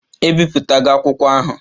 Ebipụtago akwụkwọ ahụ?